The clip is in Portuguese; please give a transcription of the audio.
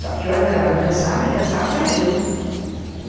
Só que eu adorava dançar, mas dançava para mim.